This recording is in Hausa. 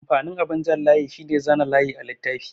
Amfanin abin jan layi shine zana layi a littafi.